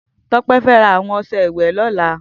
Tope fè rà awọn ọṣẹ ìwẹ̀ lọ̀lá